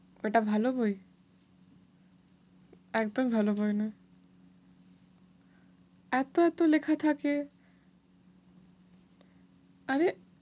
ওটা ভালো বই? একদম ভালো বই না। এত এত লেখা থাকে। আরে!